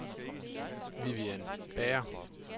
Vivian Bager